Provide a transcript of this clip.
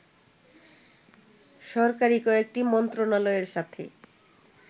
সরকারি কয়েকটি মন্ত্রণালয়ের সাথে